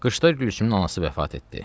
Qışda Gülsümün anası vəfat etdi.